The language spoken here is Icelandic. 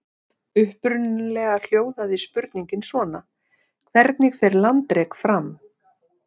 Upprunalega hljóðaði spurningin svona: Hvernig fer landrek fram?